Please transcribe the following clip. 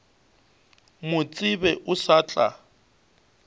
mo tsebe o sa tla